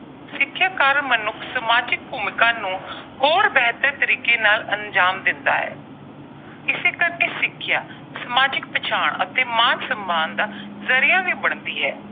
ਸਿੱਖਿਆ ਕਾਰਨ ਮਨੁੱਖ ਸਮਾਜਿਕ ਭੂਮਿਕਾ ਨੂੰ ਹੋਰ ਬਿਹਤਰ ਤਰੀਕੇ ਨਾਲ ਅੰਜ਼ਾਮ ਦਿੰਦਾ ਹੈ। ਇਸੇ ਕਰਕੇ ਸਿੱਖਿਆ, ਸਮਾਜਿਕ ਪਛਾਣ ਅਤੇ ਮਾਣ-ਸਨਮਾਨ ਦਾ ਜ਼ਰੀਆ ਵੀ ਬਣਦੀ ਐ।